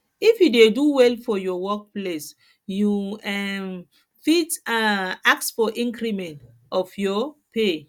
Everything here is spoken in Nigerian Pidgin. if you dey do well for your work place you um fit um ask for increment of your pay